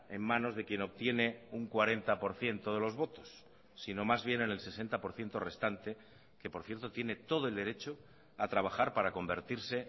en manos de quien obtiene un cuarenta por ciento de los votos sino más bien en el sesenta por ciento restante que por cierto tiene todo el derecho a trabajar para convertirse